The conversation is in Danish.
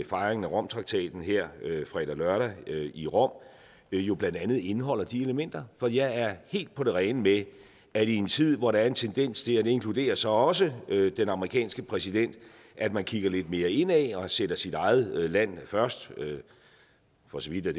fejringen af romtraktaten her fredag lørdag i rom jo blandt andet indeholder de elementer for jeg er helt på det rene med at i en tid hvor der er en tendens til og det inkluderer så også den amerikanske præsident at man kigger lidt mere indad og sætter sit eget land først for så vidt er